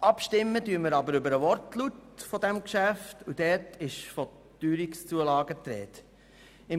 Abstimmen werden wir aber über den Wortlaut dieses Geschäfts, und dort ist von Teuerungszulagen die Rede.